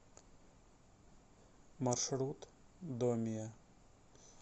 маршрут домия